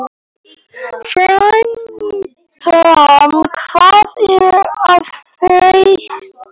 Fertram, hvað er að frétta?